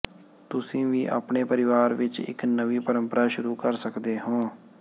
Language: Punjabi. ਤੁਸੀਂ ਵੀ ਆਪਣੇ ਪਰਿਵਾਰ ਵਿਚ ਇਕ ਨਵੀਂ ਪਰੰਪਰਾ ਸ਼ੁਰੂ ਕਰ ਸਕਦੇ ਹੋ